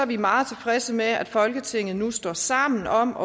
vi meget tilfredse med at folketinget nu står sammen om at